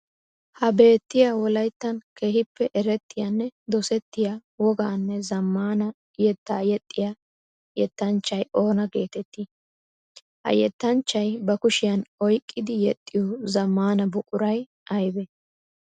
Ha beetiyaa Wolayttan keehippe erettiyaanne dosettiya wogaanne zamaana yetta yexxiyaa yettanchchay oona geetetti? Ha yettanchchay ba kushiyan oyqqidi yexiyo zamaana buquray aybee?